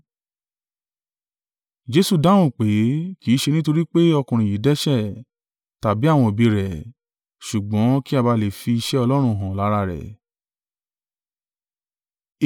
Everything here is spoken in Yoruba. Jesu dáhùn pé, “Kì í ṣe nítorí pé ọkùnrin yìí dẹ́ṣẹ̀, tàbí àwọn òbí rẹ̀: ṣùgbọ́n kí a ba à lè fi iṣẹ́ Ọlọ́run hàn lára rẹ̀.